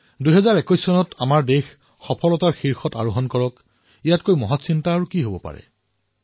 আমাৰ দেশে ২০২১ত সফলতাৰ নতুন শিখৰ স্পৰ্শ কৰক বিশ্বত ভাৰতৰ পৰিচয় অধিক সশক্ত হওক এই কামনাতকৈ ডাঙৰ কথা আন কি হব পাৰে